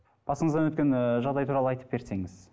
басыңыздан өткен ыыы жағдай туралы айтып берсеңіз